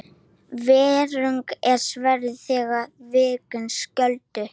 Vegurinn er sverð þeirra og vindurinn skjöldur.